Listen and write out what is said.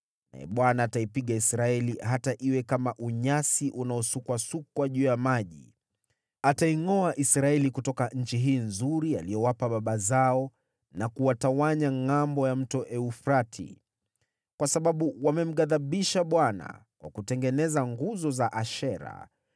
Naye Bwana ataipiga Israeli, hata iwe kama unyasi unaosukwasukwa juu ya maji. Ataingʼoa Israeli kutoka nchi hii nzuri aliyowapa baba zao na kuwatawanya ngʼambo ya Mto Frati, kwa sababu wamemghadhibisha Bwana kwa kutengeneza nguzo za Ashera